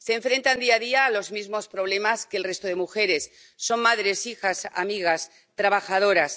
Se enfrentan día a día a los mismos problemas que el resto de mujeres son madres, hijas, amigas, trabajadoras